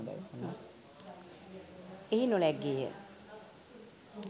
එහි නොලැග්ගේය.